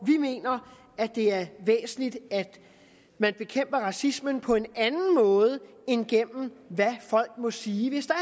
mener at det er væsentligt at man bekæmper racismen på en anden måde end gennem hvad folk må sige hvis der